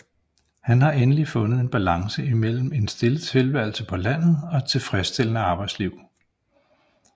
Han har endelig fundet en balance mellem en stille tilværelse på landet og et tilfredsstillende arbejdsliv